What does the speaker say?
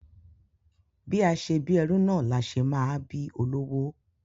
Bí a ṣe bí ẹrú náà la ṣe máa bí olówó.